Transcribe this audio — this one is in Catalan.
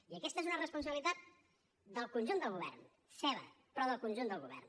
i aquesta és una responsabilitat del conjunt del govern seva però del conjunt del govern